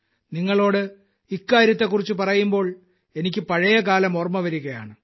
നിങ്ങളോട് ഇക്കാര്യത്തെക്കുറിച്ചു പറയുമ്പോൾ എനിക്ക് പഴയകാലം ഓർമ്മ വരുകയാണ്